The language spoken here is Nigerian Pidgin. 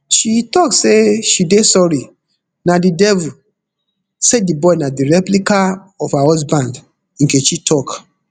she tok say she dey sorry na di devil say di boy na di replica of her husband nkechi tok